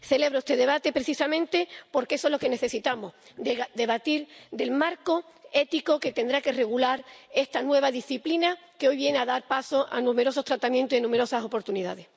Celebro este debate precisamente porque eso es lo que necesitamos debatir el marco ético que tendrá que regular esta nueva disciplina que hoy viene a dar paso a numerosos tratamientos y numerosas oportunidades.